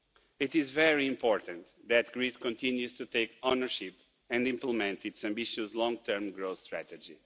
It is very important that Greece continues to take ownership and implement its ambitious long-term growth strategy.